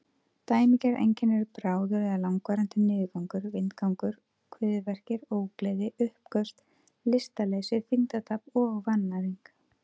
Dæmigerð einkenni eru bráður eða langvarandi niðurgangur, vindgangur, kviðverkir, ógleði, uppköst, lystarleysi, þyngdartap og vannæring.